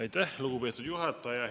Aitäh, lugupeetud juhataja!